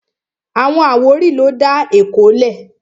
Àwọn àwórì ló dá Èkó lẹ̀